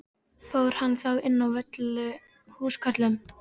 Fór hann þá inn á Völlu með húskörlum.